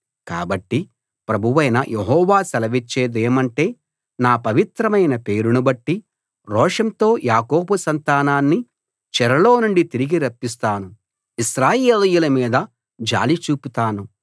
కాబట్టి ప్రభువైన యెహోవా సెలవిచ్చేదేమంటే నా పవిత్రమైన పేరును బట్టి రోషంతో యాకోబు సంతానాన్ని చెరలో నుండి తిరిగి రప్పిస్తాను ఇశ్రాయేలీయుల మీద జాలి చూపుతాను